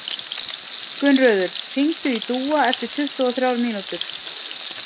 Gunnröður, hringdu í Dúa eftir tuttugu og þrjár mínútur.